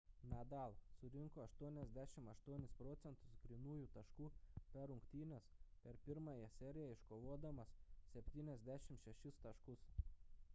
nadal surinko 88% grynųjų taškų per rungtynes per pirmąją seriją iškovodamas 76 taškus